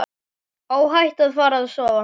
Óhætt að fara að sofa.